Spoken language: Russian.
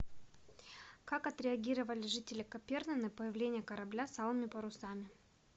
как отреагировали жители каперны на появление корабля с алыми парусами